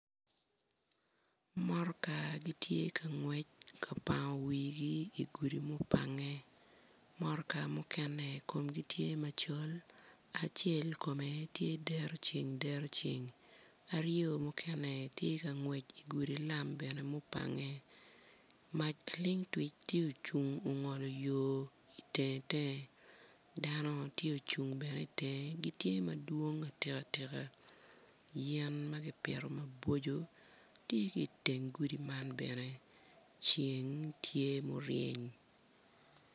Motoka gitye ka ngwec ka pango wigi idi gudi ma opange motoka mukene komgi tye macol acel kome tye dero ceng dero ceng aryo mukene tye ka ngwec igudi lam bene mupange ma ilingtwic tye ocung ogolo yo itenge tenge dano tye ocung bene itenge gitye madwong atika tika yen ma kipito mabocco tye ki iteng gudi man bene ceng tye muryeny.